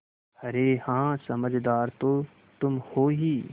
अरे हाँ समझदार तो तुम हो ही